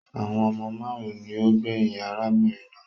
Àwọn ọmọ máarun ni ó gbẹyìn arábìnrin náà